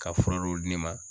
Ka fura dɔw di ne ma